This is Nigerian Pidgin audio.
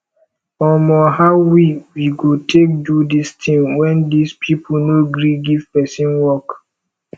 omo how we we go take do dis thing wen dis people no gree give person work